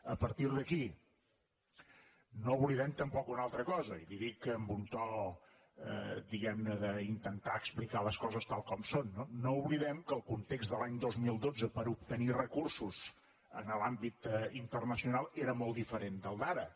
a partir d’aquí no oblidem tampoc una altra cosa i li ho dic amb un to diguem ne d’intentar explicar les coses tal com són no no oblidem que el context de l’any dos mil dotze per a obtenir recursos en l’àmbit internacional era molt diferent del d’ara